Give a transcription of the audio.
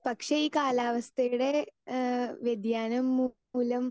speaker 2 പക്ഷേ ഈ പക്ഷേ കാലാവസ്ഥയുടെ ഏഹ് വ്യതിയാനം മൂലം